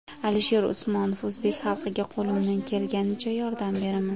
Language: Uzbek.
Alisher Usmonov: O‘zbek xalqiga qo‘limdan kelganicha yordam beraman.